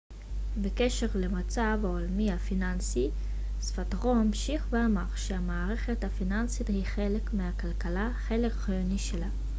בקשר למצב העולמי הפיננסי זפאטרו המשיך ואמר ש המערכת הפיננסית היא חלק מהכלכלה חלק חיוני שלה